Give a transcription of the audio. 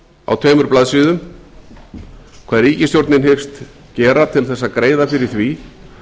á tveimur blaðsíðum hvað ríkisstjórnin hyggst gera til að greiða fyrir því